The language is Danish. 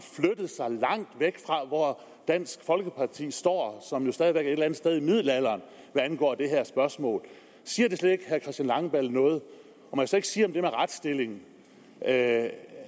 hvor dansk folkeparti står som jo stadig væk er et eller andet sted i middelalderen hvad angår det her spørgsmål siger det slet ikke herre christian langballe noget må jeg så ikke sige om det med retsstillingen at